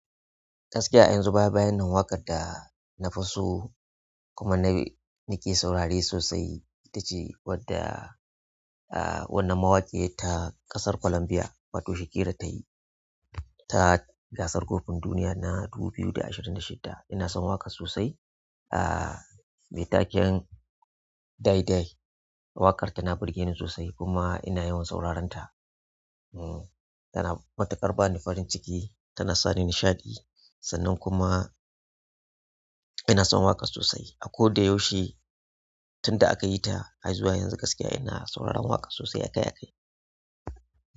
Gaskiya a yanzu baya baya nan, waƙar da na fi so kuma na, nake saurare sosai ita ce wadda, ah, wannan mawaƙiyar ta ƙasar Colombia, wato Shakira ta yi ta gasar kofin duniya na dubu biyu da ashirin da shida. Ina son waƙar sosai, ah, mai taken Dai Dai. Waƙar tana burge ni sosai kuma ina yawan sauraren ta. Hm, tana matukar bani farin ciki, tana sani nishaɗi sannan kuma ina son waƙar sosai. A ko da yaushe tunda aka yita har zuwa yanzu gaskiya ina sauraron waƙar sosai sosai.